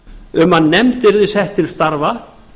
um að nefnd yrði sett til starfa